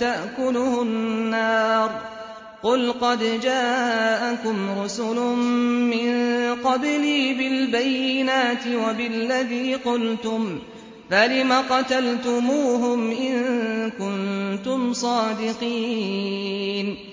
تَأْكُلُهُ النَّارُ ۗ قُلْ قَدْ جَاءَكُمْ رُسُلٌ مِّن قَبْلِي بِالْبَيِّنَاتِ وَبِالَّذِي قُلْتُمْ فَلِمَ قَتَلْتُمُوهُمْ إِن كُنتُمْ صَادِقِينَ